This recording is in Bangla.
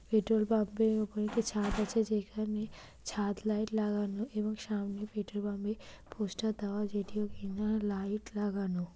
পেট্রল পাম্প -এর উপরে একটি ছাদ আছে যেখানে ছাদ লাইট লাগানো এবং সামনে পেট্রল পাম্প এ পোস্টার দেওয়া যেটি বিভিন্ন লাইট লাগানো।